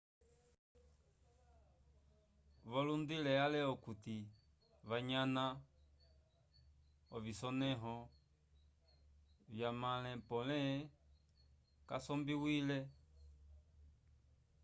volundilile ale okuti wanyana ovisonẽho vyamãle pole kasombiwile